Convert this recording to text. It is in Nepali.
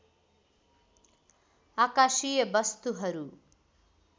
आकाशीय वस्तुहरू